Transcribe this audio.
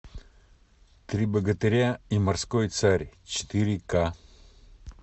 три богатыря и морской царь четыре ка